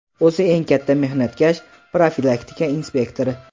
O‘zi eng katta mehnatkash - profilaktika inspektori.